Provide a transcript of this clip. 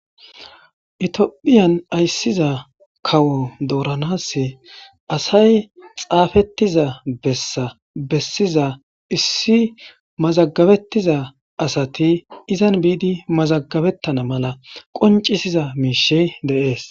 itiophiyan ayssiza kawo dooranas asay xaafettiza bessa bessiza issi mazagabettiza asati izan biidi mazagabettana mala qoncisiza miishe deees